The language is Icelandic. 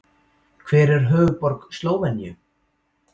Hver er höfuðborg Slóveníu?